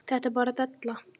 Þetta er bara della.